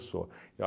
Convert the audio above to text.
Sou. Eu